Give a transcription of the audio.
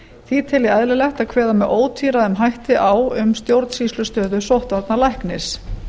því tel ég eðlilegt að kveða með ótvíræðum hætti á um stjórnsýslustöðu sóttvarnalæknis